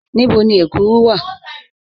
Níbò̀ ni èkúrù wà?